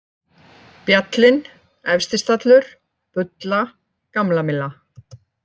Bjallinn, Efstistallur, Bulla, Gamlamylla